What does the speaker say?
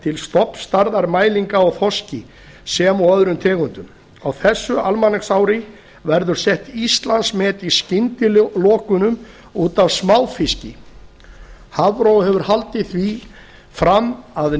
til stofnstærðar mælinga á þorski sem og öðrum tegundum á þessu almanaksári verður sett íslandsmet í skyndilokunum út af smáfiski hafró hefur haldið því fram að